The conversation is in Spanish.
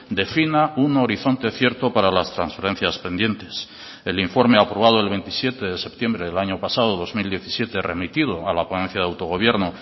defina un horizonte cierto para las transferencias pendientes el informe aprobado el veintisiete de septiembre del año pasado dos mil diecisiete remitido a la ponencia de autogobierno